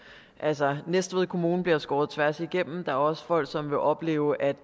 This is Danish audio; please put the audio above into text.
altså næstved kommune bliver skåret tværs igennem der er også folk som vil opleve at